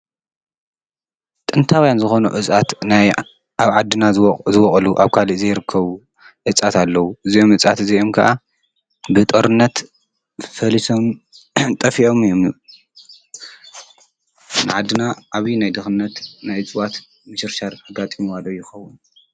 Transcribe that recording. ጥንታውያን ዝኾኑ እፅዋት ኣብ ዓድና ዝወቅሉ ኣብ ካሊእ ዘይርከቡ እፅዋታት ኣለዉ። እዚኦም እፅዋት እዚኦም ከዓ ብጦርነት ፈሊሶምን ጠፊኦምን እዮም። ኣብ ዓድና ዓብይ ናይ ድኽነት ናይ እፅዋት ምሽርሻር ኣጋጢምዋ ዶ ይኾውን?